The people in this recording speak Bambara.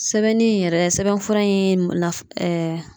Sɛbɛnni in yɛrɛ sɛbɛn fura in naf ɛɛ